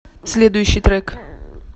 следующий трек